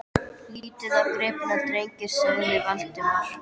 Lítið á gripina, drengir! sagði Valdimar.